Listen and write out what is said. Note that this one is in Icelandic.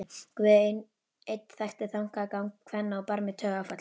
Guð einn þekkti þankagang kvenna á barmi taugaáfalls.